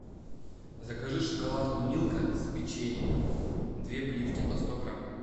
закажи шоколадку милка с печеньем две плитки по сто грамм